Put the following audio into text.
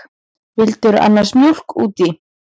Vildirðu annars mjólk út í?